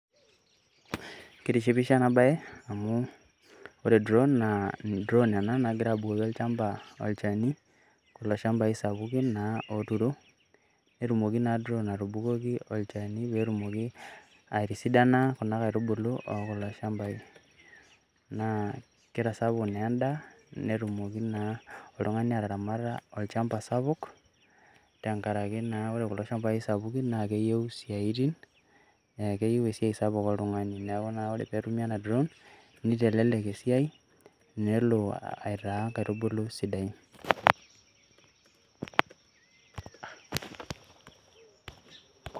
Keitishipisho ena baye amu ore drown naa drown ena nagira abukoki olchamba olchani, kulo shambai sapukin naa ooturo. Netumoki naa drown atuboki olchani pee etumoki aitisidana kuna kaitubulu oo kulo shambai. Naa kitasapuk na en`daa netumoki naa oltung`ani ataramata olchambai sapuk tenkaraki naa ore kulo shambai sapukin naa keyieu esiaitin keyieu esiai sapuk oltung`ani neaku naa ore pee etumi ena ] drown neitelelek esiai nelo aitaa nkaitubulu sidain.